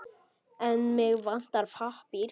En mig vantar pappír.